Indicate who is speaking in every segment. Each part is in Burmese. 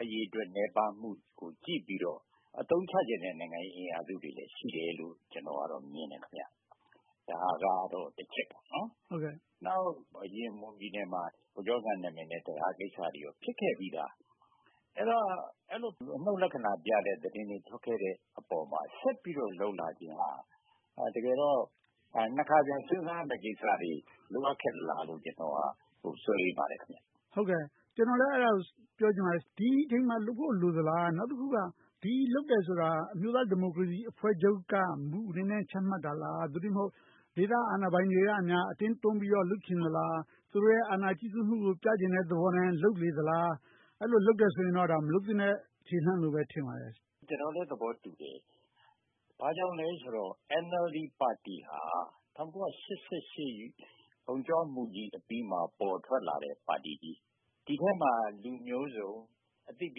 Speaker 1: အရေအတွက်နည်းပါးမှုကို ကြည့်ပြီးတော့ အသုံးချချင်တဲ့နိုင်ငံရေးအင်အားစုတွေလည်း ရှိတယ်လို့ ကျနော်က မြင်တယ်။ ဒါကတော့ တချက်ပေါ့။ နောက်တခါ မွန်ပြည်နယ်မှာ ဗိုလ်ချုပ်အောင်ဆန်းနာမည်နဲ့ တံတားကိစ္စတွေ ဖြစ်ခဲ့ပြီသား။ အဲဒီလို အနုတ်လက္ခဏာပြတဲ့ သတင်းတွေ ထွက်ခဲ့တဲ့အပေါ်မှာ ဆက်ပြီးတော့ လုပ်လာခြင်းဟာ တကယ်တော့ နှစ်ခါပြန်စဉ်းစားရမယ့်ကိစ္စတွေ လိုအပ်သလားလို့ ကျနော်ကတော့ စိုးရိမ်ပါတယ်။
Speaker 2: ကျနော်လည်း အဲဒါကို ပြောချင်ပါတယ်။ ဒီအချိန်မှာလုပ်ဖို့ လိုသလား။ နောက်တခုက ဒီလိုလုပ်တယ်ဆိုတာ အမျိုးသားဒီမိုကရေစီအဖွဲ့ချုပ်က မူအနေနဲ့ ချမှတ်တာလား။ သို့တည်းမဟုတ် ဒေသအာဏာပိုင်တွေက အတင်းတွန်းပြီးတော့ လုပ်ချင်တာလား။ သူတို့ရဲ့ အာဏာကြီးစိုးမှုကို ပြချင်တဲ့သဘောနဲ့ လုပ်နေသလား။ အဲဒီလိုတွေလုပ်နေတယ်ဆိုရင်တော့ မလုပ်သင့်တဲ့ ခြေလှမ်းလို့ပဲ ထင်ပါတယ်။
Speaker 1: ကျနော်လည်း သဘောတူတယ်။ ဘာကြောင့်လဲဆိုတော့ NLD ပါတီဟာ ၁၉၈၈ အုံ့ကြွမှုကြီးအပြီးမှာ ပေါ်ထွက်လာတဲ့ပါတီကြီး။ ဒီထဲမှာ လူမျိုးစုံ၊ အသိပ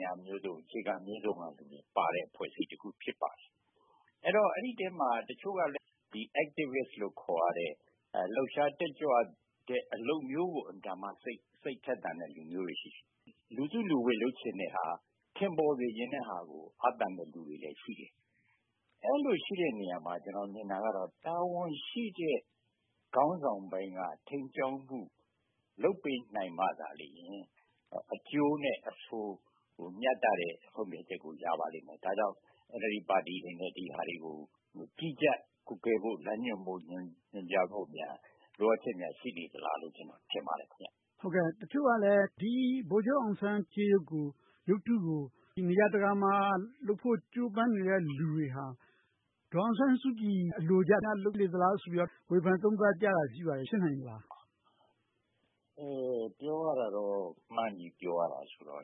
Speaker 1: ညာမျိုးစုံ၊ အခြေခံမျိုးစုံကလူတွေပါတဲ့ အဖွဲ့အစည်းတခု ဖြစ်ပါတယ်။ အဲဒီအထဲမှာ တချို့ကလည်း Activist လို့ခေါ်ရတဲ့ လှုပ်ရှားတက်ကြွတဲ့ အလုပ်မျိုးကို အင်မတန်မှ စိတ်ထက်သန်တဲ့လူမျိုးတွေ ရှိတယ်။ လူစုလူဝေး လုပ်ချင်တဲ့ဟာ၊ ထင်ပေါ်ချင်တဲ့ဟာကို အားသန်တဲ့လူတွေလည်း ရှိတယ်။ အဲဒီလိုရှိတဲ့နေရာမှာ ကျနော်ထင်တာကတော့ တာဝန်ရှိတဲ့ခေါင်းဆောင်ပိုင်းက ထိန်းကြောင်းမှု လုပ်ပေးနိုင်မှသာလျှင် အကျိုးနဲ့အဆိုး မျှတတဲ့ ဆုံးဖြတ်ချက်ကို ရပါလိမ့်မယ်။ ဒါကြောင့် NLD ပါတီအနေနဲ့ ဒီဟာတွေကို ကြီးကြပ်ကွပ်ကဲ၊ လမ်းညွှန်မှုတွေများ လိုအပ်ချက် ရှိနေသလားလို့ ကျနော် ထင်ပါတယ်။
Speaker 2: တချို့ကလည်း ဗိုလ်ချုပ်အောင်ဆန်းကြေးရုပ်ကို၊ ရုပ်ထုတွေကို နေရာတကာမှာလုပ်ဖို့ ကြိုးပမ်းနေတဲ့ လူတွေဟာ ဒေါ်အောင်ဆန်းစုကြည် အလိုကျများ လုပ်နေသလားလို့ ဝေဖန်သုံးသပ်ကြတာ ရှိနေပါတယ်။ ဖြစ်နိုင်ပါသလား။
Speaker 1: ပြောရတာတော့ မှန်းပြီးပြောရတာဆိုတော့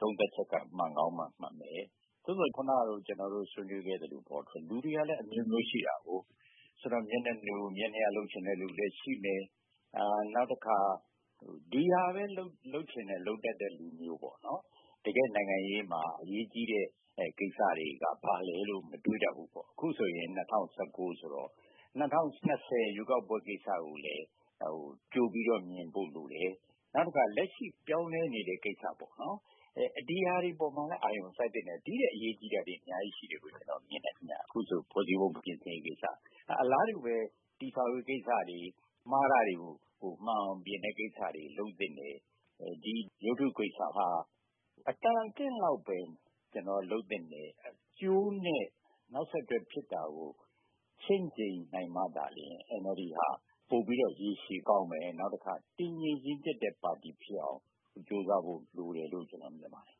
Speaker 1: သုံးသပ်ချက်က မှန်ကောင်းမှမှန်မယ်။ အခုနက ဆွေးနွေးပြောခဲ့သလို လူတွေကလည်းအမျိုးမျိုးရှိတယ် - မျက်နှာလိုမျက်နှာရ လုပ်ချင်တဲ့လူတွေလည်း ရှိမယ်။ နောက်တခါ ဒီဟာပဲ လုပ်ချင်လုပ်တတ်တဲ့ လူမျိုး။ တကယ့်နိုင်ငံရေးမှာ အရေးကြီးတဲ့ကိစ္စတွေက ဘာလဲလို့ မတွေးတတ်ဘူး။ အခုဆိုရင် ၂၀၁၉ ဆိုတော့ ၂၀၂၀ ရွေးကောက်ပွဲကိစ္စကိုလည်း ကြိုပြီးတော့မြင်ဖို့လိုတယ်။ နောက်တခါ လက်ရှိပြောင်းလဲနေတဲ့ကိစ္စ - ဒီဟာတွေပေါ်မှာလည်း အာရုံစိုက်သင့်တယ်။ ဒီထက်အရေးကြီးတာတွေ အများကြီးရှိတယ်လို့ ကျနော်မြင်တယ်။ ဖွဲ့စည်းပုံပြင်ဆင်ရေးကိစ္စ။ အလားတူပဲ တည်ဆောက်ရေးကိစ္စတွေ၊ မှားတာတွေကို မှန်အောင်ပြင်တဲ့ကိစ္စတွေ လုပ်သင့်တယ်။ ဒီရုပ်ထုကိစ္စက အတော်အသင့်လောက်ပဲ လုပ်သင့်တယ်။ အကျိုးနဲ့ နောက်ဆက်တွဲဖြစ်တာကို ချင့်ချိန်းနိုင်မှသာ NLD က ပိုပြီးတော့ရေရှည်မှာကောင်းမယ်။ နေုာက်တခါ တည်ငြိမ်ရင့်ကျက်တဲ့ပါတီဖြစ်အောင် ကြိုးစားဖို့လိုတယ်လို့ ကျနော်မြင်ပါတယ်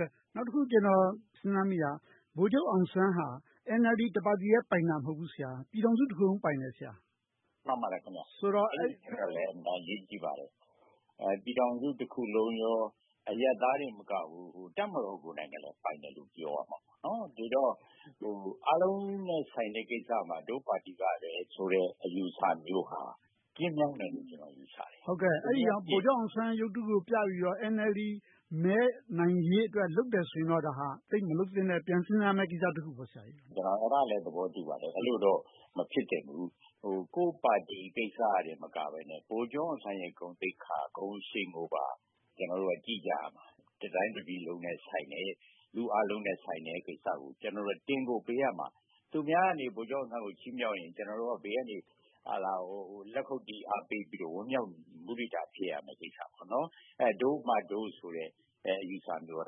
Speaker 1: ။
Speaker 2: နောက်တခု ကျနော် စဉ်းစားမိတာက ဗိုလ်ချုပ်အောင်ဆန်းက NLD တပါတီထဲပိုင်တာ မဟုတ်ဘူး ဆရာ။ ပြည်ထောင်စုတခုလုံး ပိုင်တယ်။
Speaker 1: မှန်ပါတယ်။ အဲဒါလည်း အရေးကြီးပါတယ်။ ပြည်ထောင်စုတခုလုံးနဲ့ အရပ်သားတင်မကဘူး၊ တပ်မတော်ကိုယ်တိုင်လည်း ပိုင်တယ်လို့ ပြောလို့ရတယ်။ ဒီတော့ အားလုံးနဲ့ဆိုင်တဲ့ကိစ္စမှာ ငါတို့ပါတီကပဲဆိုတဲ့ အယူအဆမျိုးဟာ ကျဉ်းမြောင်းတယ်လို့ ကျနော် ယူဆတယ်။
Speaker 2: အဲဒါကြောင့် ဗိုလ်ချုပ်အောင်ဆန်းရုပ်ထုကိုပြပြီးတော့ NLD မဲနိုင်ရေးအတွက် လုပ်တယ်ဆိုရင်တော့ သိပ်မလုပ်သင့်တဲ့ကိစ္စ - ပြန်စဉ်းစားရမယ့်ကိစ္စ ဖြစ်တယ်။
Speaker 1: ဒါကိုလည်း ကျနော် သဘောတူပါတယ်။ အဲဒီလိုတော့ မဖြစ်သင့်ဘူး။ ကိုယ့်ပါတီကိစ္စတင် မဟုတ်ဘဲ၊ ဗိုလ်ချုပ်အောင်ဆန်းရဲ့ ဂုဏ်သိက္ခာ၊ ဂုဏ်အရှိန်ကို ကျနော်တို့က ကြည့်ကြရမှာ။ တတိုင်းတပြည်လုံးနဲ့ဆိုင်တယ်။ လူအားလုံးနဲ့ဆိုင်တဲ့ကိစ္စကို ကျနော်တို့က တင်ကိုပေးရမှာ။ သူများက ဗိုလ်ချုပ်အောင်ဆန်းကို ချီးမြှောက်ရင် ကျနော်တို့က ဘေးကနေ လက်ခုပ်တီး၊ အားပေးပြီး၊ ဝမ်းမြောက်မုဒိတာ ဖြစ်ရမှာ။ ဒို့မှဒို့ဆိုတဲ့ အယူအဆမျိုးက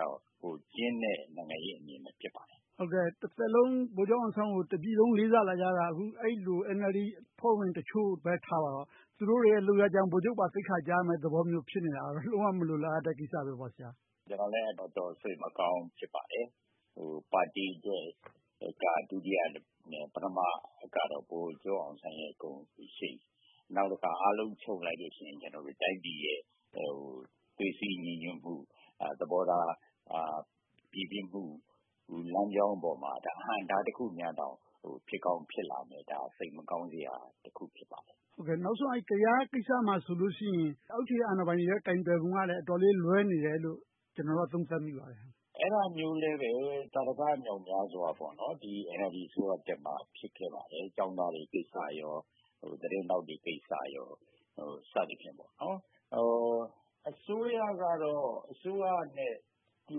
Speaker 1: တော့ ကျဉ်းတဲ့ နိုင်ငံရေးအမြင်ပဲ ဖြစ်ပါတယ်။
Speaker 2: တသက်လုံး ဗိုလ်ချုပ်အောင်ဆန်းကို တပြည်လုံး လေးစားလာခဲ့ကြတာ အဲဒီလို NLD အဖွဲ့ဝင်တချို့ပဲ ထားပါတော့ သူတို့တွေရဲ့ လုပ်ရပ်ကြောင့် ဗိုလ်ချုပ်အောင်ဆန်းပါ သိက္ခာကျရမယ့်သဘော ဖြစ်နေတာက လုံးဝမလိုလားအပ်တဲ့ ကိစ္စတွေပေါ့။
Speaker 1: ကျနော်လည်း တော်တော်လေး စိတ်မကောင်း ဖြစ်မိပါတယ်။ ပါတီက ဒုတိယနဲ့ ပထမကတော့ ဗိုလ်ချုပ်အောင်ဆန်းရဲ့ ဂုဏ်ရှိန်။ နောက်တခါ အားလုံးချုပ်လိုက်လို့ရှိရင် တိုင်းပြည်ရင် သွေးစည်းညီညွှတ်မှု၊ သဘောထားပြေပြစ်မှု လမ်းကြောင်းပေါ်မှာ အဟန့်အတားတခု ဖြစ်ကောင်းဖြစ်လာမယ်ဆိုတော့ စိတ်မကောင်းစရာတခု ဖြစ်ပါတယ်။
Speaker 2: နောက်ဆုံး ကယားကိစ္စမှာဆိုရင် အောက်ခြေအာဏာပိုင်တွေရဲ့ ကိုင်တွယ်ပုံကလည်း အတော်လေးလွှဲနေတယ်လို့ ကျနော်က သုံးသပ်မိပါတယ်။
Speaker 1: အဲဒါမျိုးလည်း သာဓကမြောက်မြားစွာ NLD အစိုးရတက်မှ ဖြစ်ခဲ့ပါတယ်။ ကျောင်းသားတွေကိစ္စ၊ သတင်းထောက်တွေကိစ္စ စသည်ဖြင့်ပေါ့။ အစိုးရကတော့ အစိုးရနဲ့တူ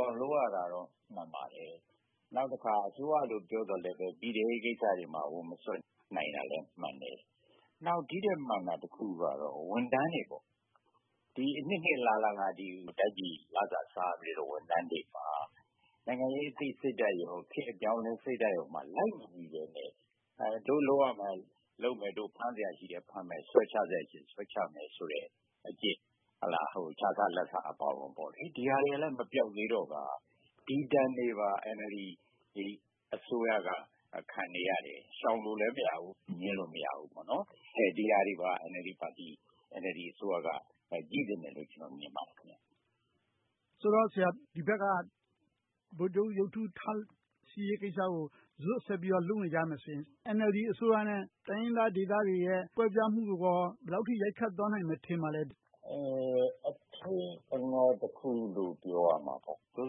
Speaker 1: အောင် လုပ်ရတာတွေရှိတာ မှန်ပါတယ်။ နောက်တခါ အစိုးရလို့ ပြောပေမယ့်လဲ ပြည်ထဲရေးကိစ္စတွေမှာ ဝင်မစွက်ဖက်နိုင်သေးတာလဲ မှန်တယ်။ နောက် ဒီထက်မှန်တာတခုကတော့ ဝန်ထမ်းတွေ။ အနှစ်နှစ်အလလ တိုင်းပြည်လစာစားခဲ့တဲ့ ဝန်ထမ်းတွေမှာ နိုင်ငံရေးအပြောင်းအလဲ အသိစိတ်ဓါတ်၊ ခေတ်အပြောင်းအလဲစိတ်ဓါတ်မှာ လိုက်မမီဘဲနဲ့ ဒို့လုပ်စရာရှိတာလုပ်မယ်။ ဒို့ဖမ်းစရာရှိတာ ဖမ်းမယ်။ ဆွဲချစရာရှိ ဆွဲချမယ်ဆိုတဲ့အကျင့်။ ခြစားလာဘ်စားအပါအဝင်တွေက မပျောက်သေးတော့ ဒီဒဏ်တွေပါ NLD အစိုးရက ခံနေရတယ်။ ရှောင်လို့လဲ မရဘူး။ ငြင်းလို့လည်း မရဘူး။ ဒီဟာတွေပါ NLD အစိုးရက ကြည့်သင့်တယ်လို့ ကျနော် မြင်ပါတယ်။
Speaker 2: ဆိုတော့ ဒီဘက်က ဗိုလ်ချုပ်ရုပ်ထုထားရှိရေးကိစ္စကို ဇွတ်ဆက်ပြီးတော့ လုပ်နေကြမယ်ဆိုရင် NLD အစိုးရနဲ့ တိုင်းရင်းသားဒေသတွေရဲ့ ကွဲပြားမှုကိုရော ဘယ်လောက်အထိ ရိုက်ခတ်သွားမယ် ထင်ပါသလဲ။
Speaker 1: အချိန်အခါတခုလို့ ပြောရမှာပေါ့။ သို့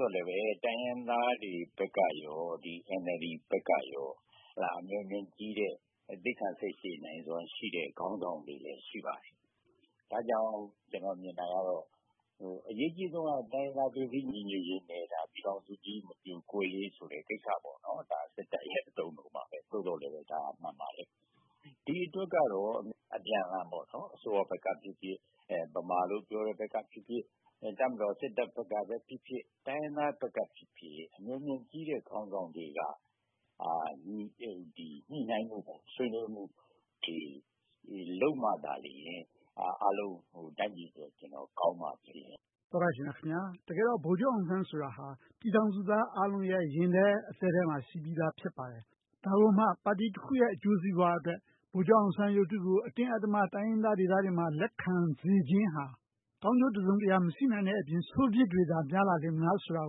Speaker 1: သော်လဲပဲ တိုင်းရင်းသားတွေဘက်ကရော၊ NLD ဘက်ကရော အမျှော်အမြင်ကြီးတဲ့၊ သီးခံစိတ်ရှည်နိုင်စွမ်းရှိတဲ့ ခေါင်းဆောင်တွေလည်း ရှိပါတယ်။ ဒါကြောင့် ကျနော် မြင်တာကတော့ အရေးကြီးဆုံးက တိုင်းရင်းသားသွေးစည်းညီညွှတ်ရေးပါ။ ပြည်ထောင်စုကြီး မပြိုကွဲရေးဆိုတဲ့ ကိစ္စပေါ့။ ဒါ စစ်တပ်ရဲ့ အသုံးအနှုန်းပါ။ သို့သော်လဲ ဒါတွေက မှန်ပါတယ်။ ဒီအတွက်ကတော့ အပြန်အလှန် အစိုးရဘက်ကဖြစ်ဖြစ်၊ ဗမာလို့ပြောတဲ့ဘက်ကဖြစ်ဖြစ်၊ တပ်မတော် စစ်တပ်ဘက်ကဖြစ်ဖြစ်၊ တိုင်းရင်းသားဘက်ကဖြစ်ဖြစ် အမျှော်အမြင်ကြီးတဲ့ ခေါင်းဆောင်တွေက ညှိနှိုင်းဆွေးနွေးမှုတွေ လုပ်မှသာလျှင် အားလုံးတိုင်းပြည်အတွက် ကောင်းလာမှာပါ။ နိဂုံးမှတ်ချက် -- သောတရှင်များခင်များ… တကယ်တော့ ဗိုလ်ချုပ်အောင်ဆန်းဆိုတာ ပြည်ထောင်စုသားအားလုံးရဲ့ ရင်ထဲအသည်းထဲမှာ ရှိပြီသား ဖြစ်ပါတယ်။ ဒါကိုမှ ပါတီတခုရဲ့ အကျိုးစီးပွားအတွက် ဗိုလ်ချုပ်အောင်ဆန်းရုပ်ထုကို အတင်းအဓမ္မ တိုင်းရင်းသားဒေသတွေမှာ လက်ခံစေချင်ဟာ ကောင်းကျိုးတစုံတရာ မရှိနိုင်တဲ့အပြင်၊ ဆိုးပြစ်တွေသာ များလာလေမလားဆိုတာ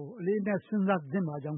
Speaker 1: ကို အလေးအနက် စဉ်းစားသင့်ပါကြောင်း